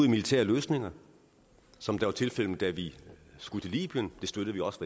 i militære løsninger som det var tilfældet da vi skulle til libyen det støttede vi også